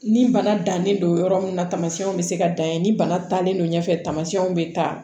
Ni bana dannen don yɔrɔ min na tamasiyɛnw bɛ se ka dan yen ni bana talen don ɲɛfɛ tamasiyɛnw bɛ taa